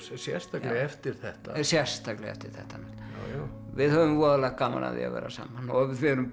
sérstaklega eftir þetta sérstaklega eftir þetta við höfum voðalega gaman af því að vera saman og